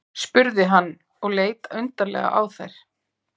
spurði hann og leit undarlega á þær.